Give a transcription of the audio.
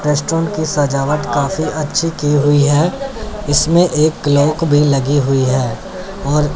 restaurant की सजावट काफी अच्छी की हुई है इसमें एक क्लॉक भी लगी हुई है और--